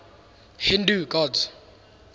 hindu gods